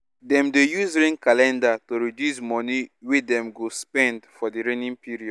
dem dey use rain calender to reduce money wey dem go spend for di raining period